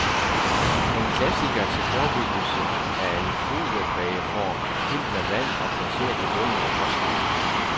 En klassiker til forebyggelse er en foliebageform fyldt med vand og placeret i bunden af postkassen.